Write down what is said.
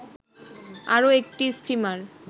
আরো একটি স্টিমার